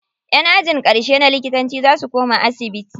Ƴan ajin ƙarshe na likitanci za su koma asibiti.